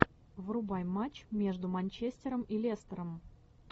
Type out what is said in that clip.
врубай матч между манчестером и лестером